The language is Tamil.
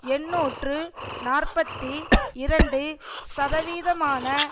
எண்ணூற்று நாற்பத்தி இரண்டு சதவீதமான